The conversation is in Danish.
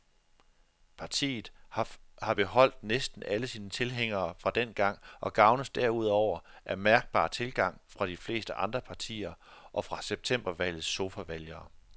Partiet har beholdt næsten alle sine tilhængere fra dengang og gavnes derudover af mærkbar tilgang fra de fleste andre partier og fra septembervalgets sofavælgere.